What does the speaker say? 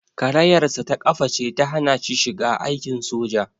Karayarsa ta ƙafa ce ta hana shi shiga aikin soja.